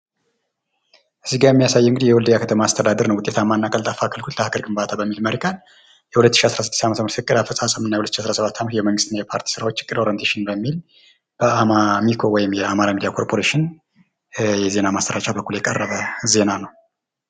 እዚጋ የሚያሳየው እንግዲህ የወልድያ ከተማ አስተዳደር ነው። ውጤታማና ቀልጣፋ አገልግሎት ለሃገር ግንባታ በሚል መሪ ቃል የሁለት ሺህ አስራ ስድስት ዓመተ ምህረት እቅድ አፈጻጸም እና የሁለት ሺህ አስራ ሰባት ዓመተ ምህረት የመንግስትና የፖርቲ ስራዎች ዕቅድ ኦረንቴሽን በሚል በአሚኮ ወይም በአማራ ሚድያ ኮርፖሬሽን የዜና ማሰራጫ በኩል የቀረበ ዜና ነው ።